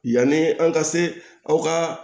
Yanni an ka se aw ka